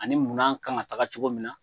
Ani munan kan ka taga cogo min na